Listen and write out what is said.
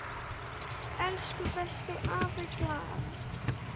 Elsku besti afi Glað.